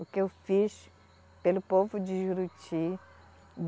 O que eu fiz pelo povo de Juruti.